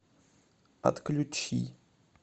отключи